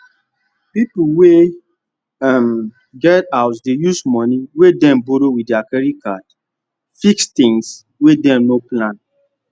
people wey um get house dey use money wey dem borrow with their credit card fix things wey dem no plan